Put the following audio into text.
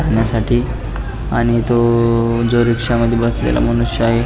करण्यासाठी आणि तो जो रिक्षामध्ये बसलेला मनुष्य आहे.